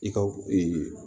I ka